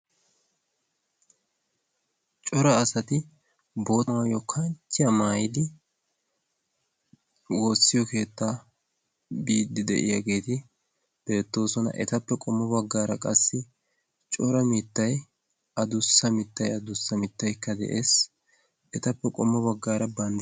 cora asati boota maayo kanchchiya maayidi woossiyo keettaa biiddi de7iyaageeti beettoosona. etappe qommo baggaara qassi cora mittai adussa mittai adussa mittaikka de7ees. etappe qommo baggaara banda